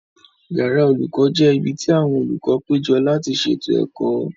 Yàrá olùkọ́ jẹ́ ibi tí àwọn olùkọ́ péjọ láti ṣètò ẹ̀kọ́